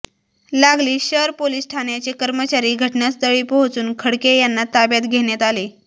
लागलीच शर पोलीस ठाण्याचे कर्मचारी घटनास्थळी पोहचून खडके यांना ताब्यात घेण्यात आले